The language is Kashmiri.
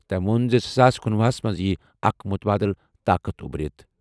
تٔمۍ ووٚن زِ زٕ ساس کنُۄہُ ہَس منٛز یِیہِ اکھ مُتبادل طاقت اُبرِتھ۔